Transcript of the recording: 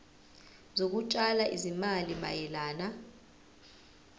zokutshala izimali mayelana